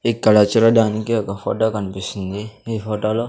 ఇక్కడ చూడడానికి ఒక ఫోటో కనిపిస్తుంది ఈ ఫోటోలో --